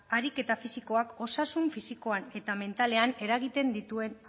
ariketa fisikoak osasun fisikoan eta mentalean eragiten dituen